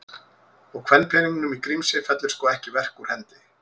Og kvenpeningnum í Grímsey fellur sko ekki verk úr hendi.